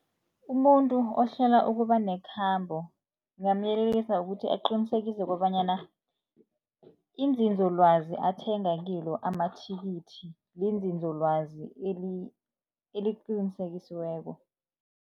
Umuntu ohlela ukuba nekhambo ngingamuyelelisa ukuthi, aqinisekise kobanyana izinzolwazi athenga kilo amathikithi lizinzolwazi eliqinisekisiweko.